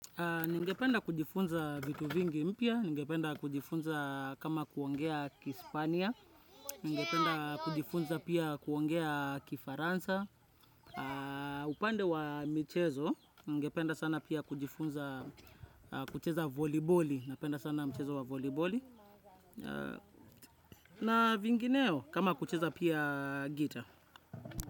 Ningependa kujifunza vitu vingi mpya, ningependa kujifunza kama kuongea kispania, ningependa kujifunza pia kuongea kifaransa, upande wa michezo, ningependa sana pia kujifunza kucheza voliboli, napenda sana mchezo wa voliboli, na vingineo kama kucheza pia gita.